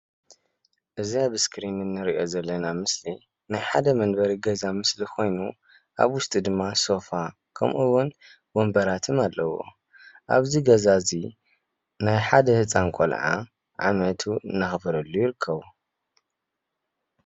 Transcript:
እዚ ኣብ እስክሪን እንርኦ ዘለና ምስሊ ናይ ሓደ መንበሪ ገዛ ምስሊ ኮይኑ ኣብ ውሽጡ ድማ ሶፋ ከምኡ'ውን ወንበራትን አለዎ። ኣብዚ ገዛ እዚ ናይ ሓደ ህፃን ቆልዓ ዓመቱ እንዳከበሩሉ ይርከቡ።